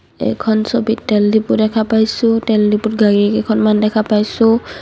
এইখন ছবিত তেল ডিপো দেখা পাইছোঁ তেল ডিপোত গাড়ী কেইখনমান দেখা পাইছোঁ।